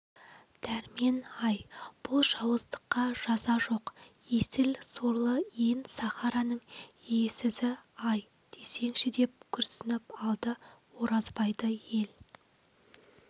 дәрмен-ай бұл жауыздыққа жаза жоқ есіл сорлы ен сахараның иесізі-ай десеңші деп күрсініп алды оразбайды ел